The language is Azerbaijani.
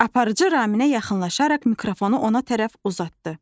Aparıcı Raminə yaxınlaşaraq mikrofonu ona tərəf uzatdı.